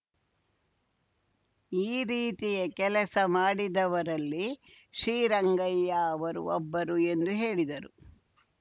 ಈ ರೀತಿಯ ಕೆಲಸ ಮಾಡಿದವರಲ್ಲಿ ಶ್ರೀರಂಗಯ್ಯ ಅವರೂ ಒಬ್ಬರು ಎಂದು ಹೇಳಿದರು